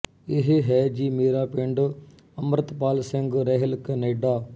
ਇਹ ਹੈ ਜੀ ਮੇਰਾ ਪਿੰਡ ਅਮ੍ਰਿਤਪਾਲ ਸਿੰਘ ਰੈਹਿਲ ਕੈਨੇਡਾ